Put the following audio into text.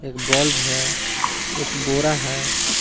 एक बल्ब है एक बोरा है।